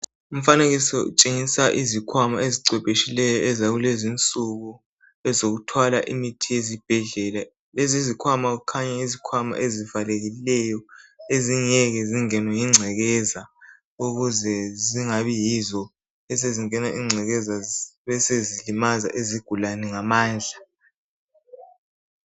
Umfanekiso utshengisa izikhwama ezicwephetshileyo ezakulezinsuku ezokuthwala imithi ezibhedlela. Lezizikhwama kukhanya yizikhwama ezivalekileyo ezingeke zingenwe yingcekeza ukuze zingabi yizo esezingena lengcekeza besezilimaza izigulane ngamandla.